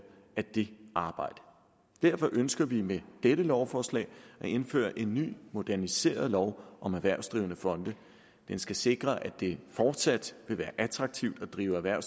af det arbejde derfor ønsker vi med dette lovforslag at indføre en ny moderniseret lov om erhvervsdrivende fonde den skal sikre at det fortsat vil være attraktivt at drive erhverv